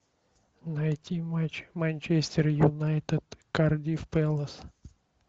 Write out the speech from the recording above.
найти матч манчестер юнайтед кардифф пэлас